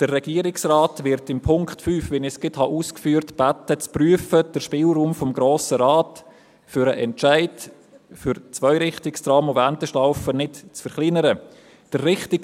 Wie ich eben ausführte, wird der Regierungsrat in Punkt 5 um eine Überprüfung gebeten, damit der Spielraum des Grossen Rates für den Entscheid für Zweirichtungstrams und Wendeschlaufen nicht verkleinert wird.